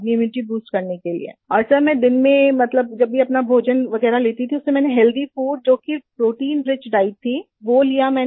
immunity boost करने के लिए और सर मैं दिन में मतलब जब भी अपना भोजन लेती थी उसमे मैंने हेल्थी फूड जो कि प्रोटीन रिच डाइट थी वो लिया मैंने